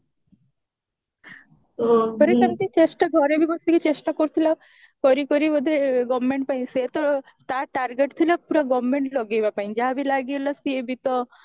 ତାପରେ ସେମିତି ଚେଷ୍ଟା ଘରେ ବି ବସିକି ଚେଷ୍ଟା କରୁଥିଲା କରି କରି ବୋଧେ government ପାଇଁ ସେ ତ ତା target ଥିଲା ପୁରା government ଲଗେଇବା ପାଇଁ ଯାହା ବି ଲାଗିଗଲା ସିଏ ବି ତ